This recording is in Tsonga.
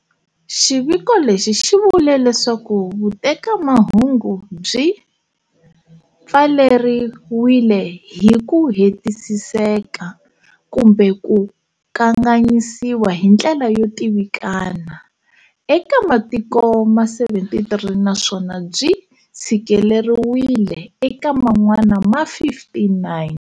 Xiviko lexi xi vule leswaku vutekamahungu byi pfaleriwile hi ku hetiseka kumbe ku kanganyisiwa hi ndlela yo tivikana eka matiko ma 73 naswona byi tshikeleriwile eka man'wana ma 59.